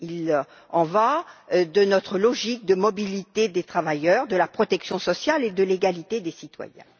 Il en va de notre logique de mobilité des travailleurs, de la protection sociale et de l'égalité des citoyens.